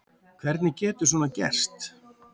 Hvernig getur svona gerst?